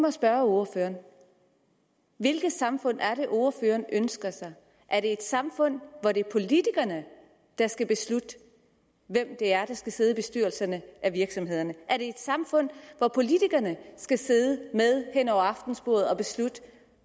at spørge ordføreren hvilket samfund er det ordføreren ønsker sig er det et samfund hvor det er politikerne der skal beslutte hvem det er der skal sidde i bestyrelserne af virksomhederne er det et samfund hvor politikerne skal sidde med hen over aftensbordet og beslutte